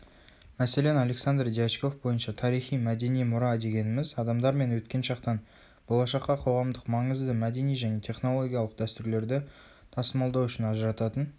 мәселен александр дьячков бойынша тарихи-мәдени мұра дегеніміз адамдармен өткен шақтан болашаққа қоғамдық маңызды мәдени және технологиялық дәстүрлерді тасымалдау үшін ажырататын